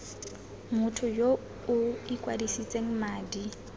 motho yo o ikwadisitseng madi